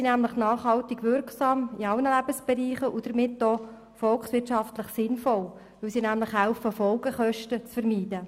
Denn beide sind nachhaltig wirksam – in allen Lebensbereichen – und damit auch volkswirtschaftlich sinnvoll, weil sie Folgekosten zu vermeiden helfen.